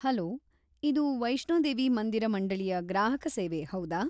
Hello! ಇದು ವೈಷ್ಣೋದೇವಿ ಮಂದಿರ ಮಂಡಳಿಯ ಗ್ರಾಹಕ ಸೇವೆ ಹೌದಾ?